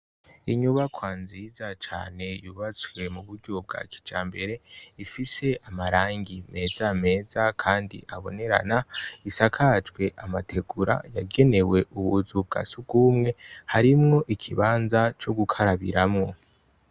Inyubakwa nziza cane yubatswe mu buryo bwa kijambere, ifise amarangi meza meza kandi abonerana, isakajwe amategura yagenewe ubuzu bwa sugubumwe harimwo ikibanza co gukarabiramwo.